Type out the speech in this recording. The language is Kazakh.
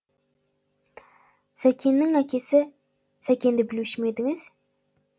сәкеннің әкесі сәкенді білуші ме едіңіз